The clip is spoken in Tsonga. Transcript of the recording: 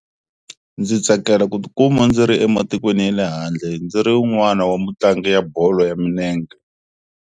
Ndzi tsakela ku tikuma ndzi ri ematikweni ya le handle ndzi ri un'wana wa mutlangi ya bolo ya milenge.